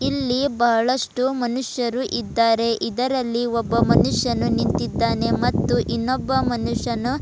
ಇಲ್ಲಿ ಬಹಳಷ್ಟು ಮನುಷ್ಯರು ಇದ್ದಾರೆ ಇದರಲ್ಲಿ ಒಬ್ಬ ಮನುಷ್ಯನು ನಿಂತಿದ್ದಾನೆ ಮತ್ತು ಇನ್ನೊಬ್ಬ ಮನುಷ್ಯನು--